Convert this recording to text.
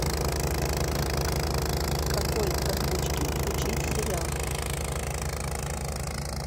в какой озвучке включить сериал